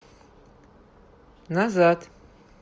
назад